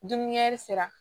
Dumunikɛ sira